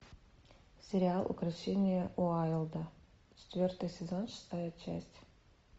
сериал укрощение уайлда четвертый сезон шестая часть